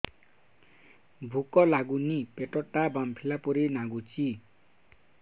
ଭୁକ ଲାଗୁନି ପେଟ ଟା ଫାମ୍ପିଲା ପରି ନାଗୁଚି